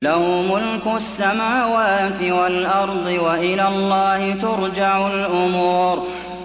لَّهُ مُلْكُ السَّمَاوَاتِ وَالْأَرْضِ ۚ وَإِلَى اللَّهِ تُرْجَعُ الْأُمُورُ